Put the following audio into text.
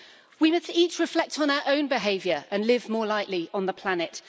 We must each reflect on our own behaviour and live more lightly on the planet.